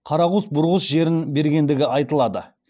қарағұс бұрғыс жерін бергендігі айтылады